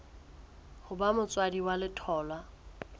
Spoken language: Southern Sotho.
ho ba motswadi wa letholwa